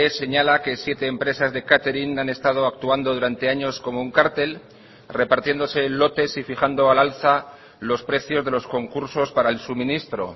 señala que siete empresas de catering han estado actuando durante años como un cártel repartiéndose lotes y fijando al alza los precios de los concursos para el suministro